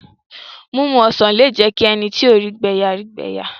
Mímu ọsàn lé jẹ́ kí ẹni tí kò rí ìgbẹ̀ yà rí ìgbẹ́ yà